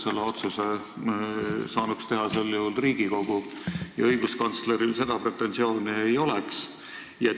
Selle otsuse saanuks teha Riigikogu ja siis õiguskantsleril seda pretensiooni ei oleks.